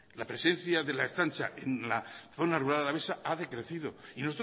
la presencia de la ertzantza en la zona rural alavesa ha decrecido y